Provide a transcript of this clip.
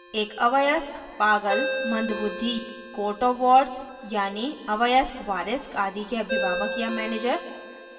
एक अवयस्क पागल या मंद बुद्धि court of wards यानी अवयस्क वारिस आदि के अभिभावक या manager